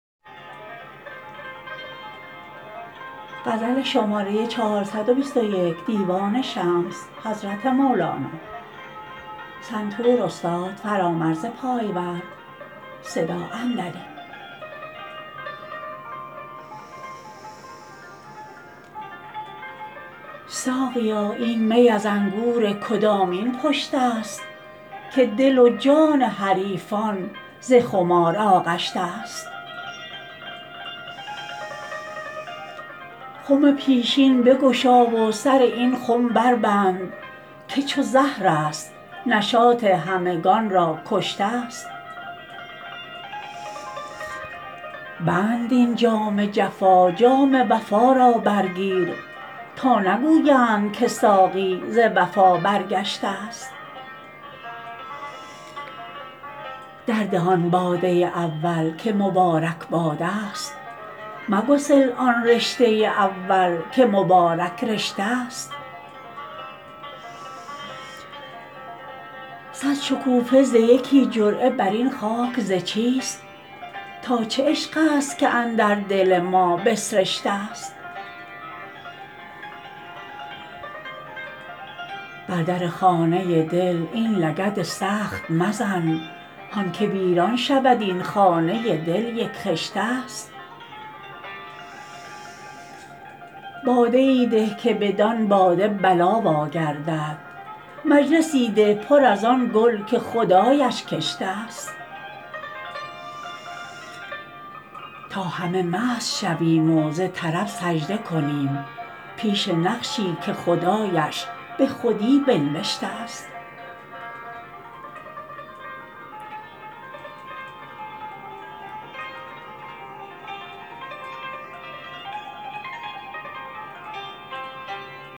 ساقیا این می از انگور کدامین پشته ست که دل و جان حریفان ز خمار آغشته ست خم پیشین بگشا و سر این خم بربند که چو زهرست نشاط همگان را کشته ست بند این جام جفا جام وفا را برگیر تا نگویند که ساقی ز وفا برگشته ست درده آن باده اول که مبارک باده ست مگسل آن رشته اول که مبارک رشته ست صد شکوفه ز یکی جرعه بر این خاک ز چیست تا چه عشق ست که اندر دل ما بسرشته ست بر در خانه دل این لگد سخت مزن هان که ویران شود این خانه دل یک خشته ست باده ای ده که بدان باده بلا واگردد مجلسی ده پر از آن گل که خدایش کشته ست تا همه مست شویم و ز طرب سجده کنیم پیش نقشی که خدایش به خودی بنوشته ست